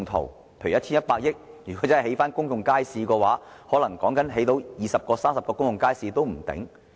例如使用 1,100 億元興建公眾街市的話，說不定可以興建二三十個公眾街市。